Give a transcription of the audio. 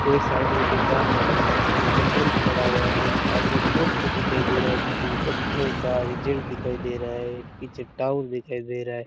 एक साइड में दुकान है जिसका सेंटर बंद पड़ा हुआ है एक आगे पोस्टर दिखाई दे रहा है जिसमें बच्चों का रिजल्ट दिखाई दे रहा है एक पीछे टावर दिखाई दे रहा है।